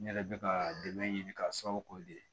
N yɛrɛ bɛ ka dɛmɛ ɲini k'a sababu k'o de ye